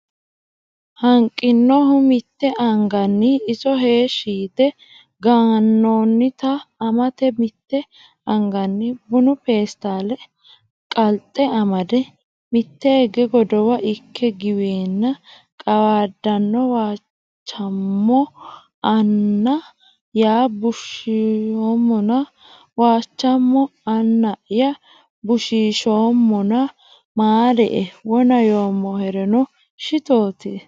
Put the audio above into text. Hanqinohu mitte anganni iso heeshshi yite ganannota amate mitte anganni bunu peestaale qalxe amade mitteege godowa ikke giweenna qawaadanno Waachamo Anna ya bushiishoommona Waachamo Anna ya bushiishoommona maarie wona yoommoherino shitootie !